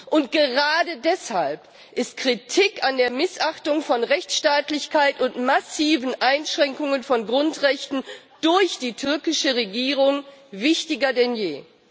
Und gerade deshalb ist Kritik an der Missachtung von Rechtsstaatlichkeit und massiven Einschränkungen von Grundrechten durch die türkische Regierung wichtiger denn je.